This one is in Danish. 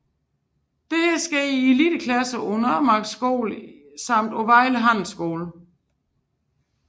Dette sker i eliteidrætsklasser på Nørremarksskolen samt på Vejle Handelsskole